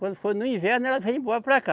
Quando foi no inverno, ela veio embora para cá.